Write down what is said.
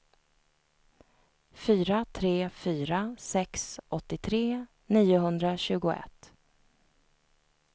fyra tre fyra sex åttiotre niohundratjugoett